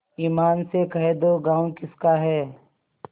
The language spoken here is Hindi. ईमान से कह दो गॉँव किसका है